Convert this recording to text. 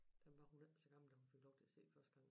Dem var hun ikke så gammel da hun fik lov til at se første gang